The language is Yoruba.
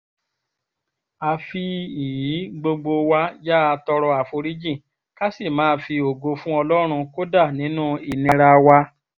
àfi ìí gbogbo wa yáa tọrọ àforíjì ká sì máa fi ògo fún ọlọ́run kódà nínú ìnira wa